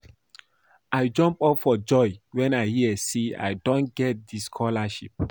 I jump up for joy wen I hear say I don get the scholarship